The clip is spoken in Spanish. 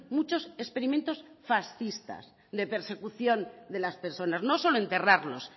muchos experimentos fascistas de persecución de las personas no solo enterrarlos